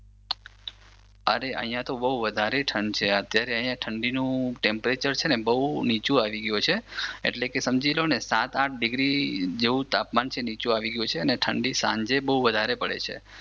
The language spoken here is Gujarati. અરે અહિયાં તો બહુ વધારે ઠંડ છે. અત્યારે અહિયાં ઠંડીનું ટેમ્પરેચર છે ને બહુ નીચું આવી ગયું છે. એટલે સમજી લો ને સાત આંઠ ડિગ્રી જેવુ તાપમાન નીચું આવી ગયું છે અને ઠંડી સાંજે બહુ વધારે પડે છે.